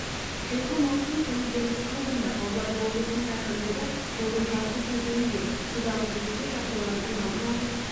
жылғы маусым күні ертіс клубында павлодар облысының әкімдігі жылдың жазғы кезеңінде судағы төтенше жағдайлардың алдын алу